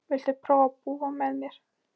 Viltu prófa að búa með mér.